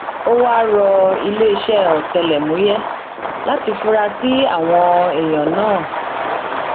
ó wáá rọ iléeṣẹ ọtẹlẹmúyẹ láti fura sí àwọn èèyàn náà